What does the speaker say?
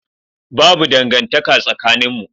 Babu dangantaka tsakaninmu.